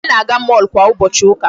Anyị na-aga mall kwa ụbọchị ụka.